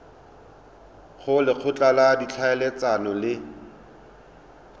go lekgotla la ditlhaeletsano le